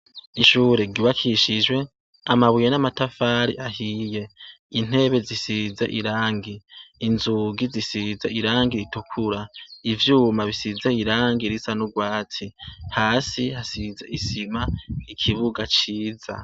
Ishure ryubakishijwe amabuye n'amatafari ahiye intebe zisize irangi, inzugi zisiza irangi ritukura ivyuma bisize irangi risa n'ubwati hasi hasize isima ikibuga ciza.